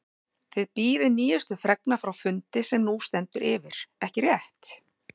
Þið bíðið nýjustu fregna frá fundi sem nú stendur yfir, ekki rétt?